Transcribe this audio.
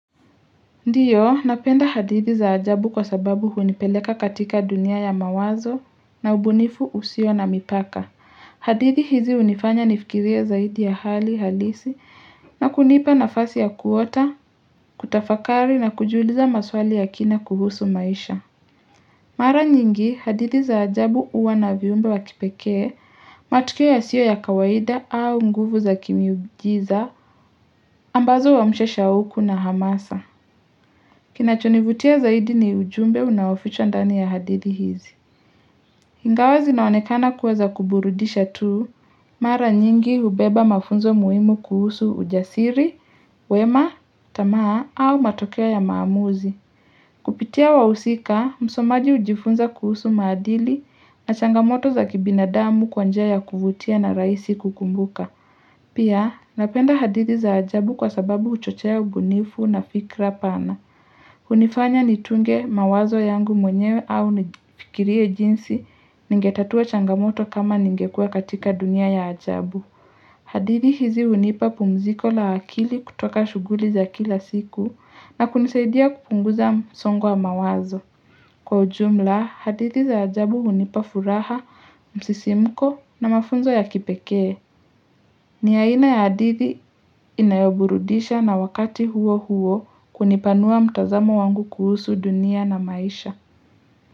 Ndiyo, napenda hadithi za ajabu kwa sababu hunipeleka katika dunia ya mawazo na ubunifu usio na mipaka. Hadithi hizi unifanya nifikirie zaidi ya hali halisi na kunipa na fasi ya kuota, kutafakari na kujiuliza maswali ya kina kuhusu maisha. Mara nyingi, hadithi za ajabu uwa na viumbe wakipekee, matukio ya siyo ya kawaida au nguvu za kimiujiza, ambazo wa mshesha uku na hamasa. Kinachonivutia zaidi ni ujumbe unaofichwa ndani ya hadithi hizi. Ingawazi na onekana kuwa za kuburudisha tu, mara nyingi ubeba mafunzo muimu kuhusu ujasiri, wema, tamaa au matokeo ya maamuzi. Kupitia wahusika, msomaji ujifunza kuhusu maadili na changamoto za kibina damu kwanjia ya kuvutia na raisi kukumbuka. Pia, napenda hadithi za ajabu kwa sababu uchochea ubunifu na fikra pana. Unifanya nitunge mawazo yangu mwenyewe au nifikirie jinsi ningetatua changamoto kama ningekuwa katika dunia ya ajabu. Hadithi hizi unipa pumziko la akili kutoka shuguli za kila siku na kunisaidia kupunguza msongo wa mawazo. Kwa ujumla, hadithi za ajabu unipa furaha, msisimko na mafunzo ya kipekee. Ni aina ya adithi inayoburudisha na wakati huo huo kunipanua mtazamo wangu kuhusu dunia na maisha.